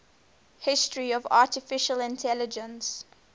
history of artificial intelligence